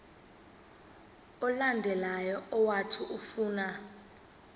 olandelayo owathi ufuna